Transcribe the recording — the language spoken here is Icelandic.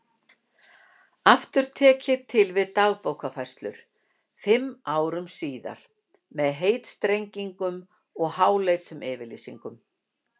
Aftur tek ég til við Dagbókarfærslur fimm árum síðar með heitstrengingum og háleitum yfirlýsingum.